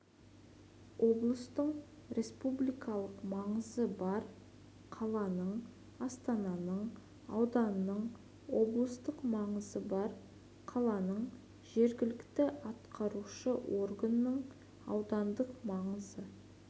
облыстың республикалық маңызы бар қаланың астананың ауданның облыстық маңызы бар қаланың жергілікті атқарушы органының аудандық маңызы